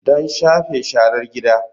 Don shafe sharar gida.